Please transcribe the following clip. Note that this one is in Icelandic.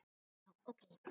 Já, ok.